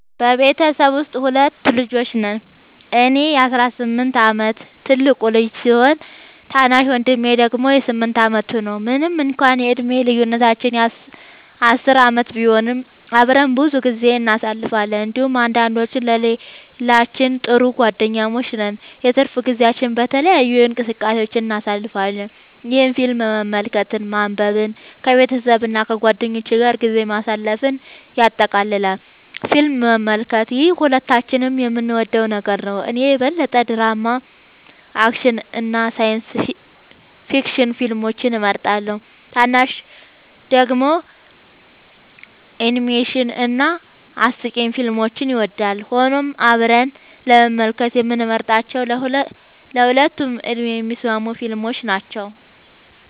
በቤተሰቤ ውስጥ ሁለት ልጆች ነን - እኔ የ18 ዓመት ትልቁ ልጅ ሲሆን፣ ታናሽ ወንድሜ ደግሞ 8 ዓመቱ ነው። ምንም እንኳን የዕድሜ ልዩነታችን 10 ዓመት ቢሆንም፣ አብረን ብዙ ጊዜ እናሳልፋለን እንዲሁም አንዳችን ለሌላችን ጥሩ ጓደኛሞች ነን። የትርፍ ጊዜያችንን በተለያዩ እንቅስቃሴዎች እናሳልፋለን፣ ይህም ፊልም መመልከትን፣ ማንበብን፣ ከቤተሰብ እና ከጓደኞች ጋር ጊዜ ማሳለፍን ያጠቃልላል። ፊልም መመልከት - ይህ ሁለታችንም የምንወደው ነገር ነው። እኔ የበለጠ ድራማ፣ አክሽን እና ሳይንስ ፊክሽን ፊልሞችን እመርጣለሁ፣ ታናሹ ደግሞ አኒሜሽን እና አስቂኝ ፊልሞችን ይወዳል። ሆኖም አብረን ለመመልከት የምንመርጣቸው ለሁለቱም ዕድሜ የሚስማሙ ፊልሞች ናቸው።